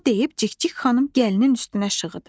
Bunu deyib Cikcik xanım gəlinin üstünə şığıdı.